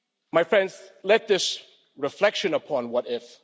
My friends, let this reflection upon what if?'